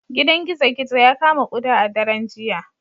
Gidan gizo-gizo ya kama kuda a daren jiya